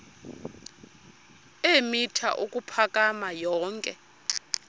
eemitha ukuphakama yonke